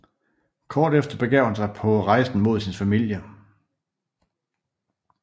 Kort efter begav han sig på rejsen med sin familie